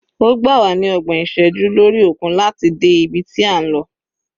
Ó gbà wá ní ọgbọ̀n ọjọ́ lórí òkun láti dé ibi tí a ń lọ.